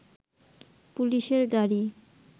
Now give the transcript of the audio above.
পুলিশের গাড়ি